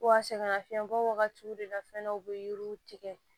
Wa sɛgɛnnafiɲɛbɔ wagatiw de la fɛnɛ u bɛ yiriw tigɛ